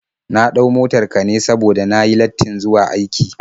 Na ɗau motar ka ne saboda na yi lattin zuwa aiki.